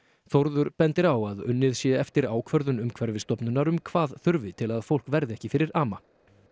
Þórður bendir á að unnið sé eftir ákvörðun Umhverfisstofnunar um hvað þurfi til að fólk verði ekki fyrir ama